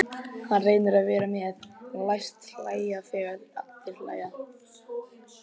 Hann reynir að vera með, læst hlæja þegar aðrir hlæja.